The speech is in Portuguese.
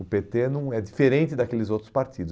O pê tê não é, é diferente daqueles outros partidos.